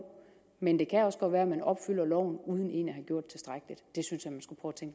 men det kan også godt være at man opfylder loven uden egentlig